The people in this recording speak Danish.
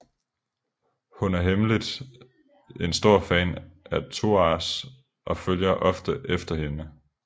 Hun er hemmeligt en stor fan af Thouars og følger ofte efter hende